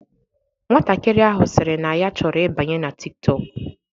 Nwatakịrị ahụ sịrị na ya chọrọ ịbanye na Tik tọk.